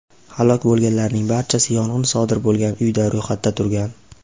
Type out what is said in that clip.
Halok bo‘lganlarning barchasi yong‘in sodir bo‘lgan uyda ro‘yxatda turgan.